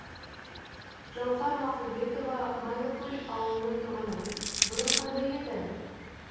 жауһар мақұлбекова майлыкөл ауылының тұрғыны бұрын қандай еді